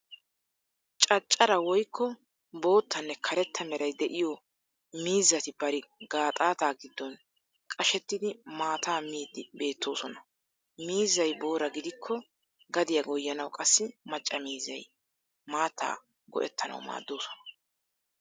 Caccara woykko boottane karetta meray de'iyo miizzati bari gaaxaataa giddon qashettidi maataa miiddi beetoosona. Mizzay booraa gidikko gadiya goyyanawu qassi macca miizzay maattaa go'ettanawu maaddoosona.